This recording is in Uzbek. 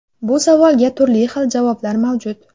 Bu savolga turli xil javoblar mavjud.